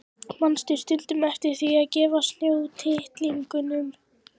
Manstu stundum eftir því að gefa snjótittlingunum?